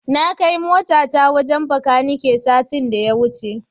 Na kai motata wajen Bakanike satin da ya wuce.